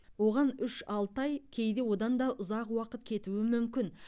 оған үш алты ай кейде одан да ұзақ уақыт кетуі мүмкін